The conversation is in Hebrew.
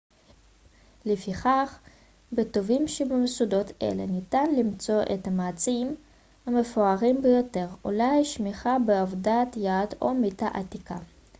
לפיכך בטובים שבמוסדות אלה ניתן למצוא את המצעים המפוארים ביותר אולי שמיכה בעבודת יד או מיטה עתיקה